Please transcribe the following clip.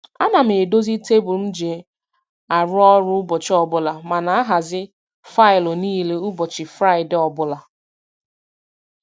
A na m edozi tebụl m ji arụ ọrụ ụbọchị ọbụla ma na ahazi faịlụ niile ụbọchị Fraịdee ọbụla.